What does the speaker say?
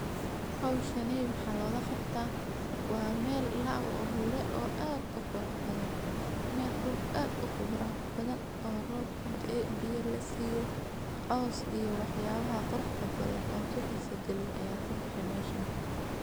Howshaney waxa lagaqabta wa mel laawure oo aad uqurxbadan mel aad uqurux badan oo roob kudae biya lasiyo coos oyo wax yalaha qurux badan oo kuhisa galiyo aya kabehe meshaan.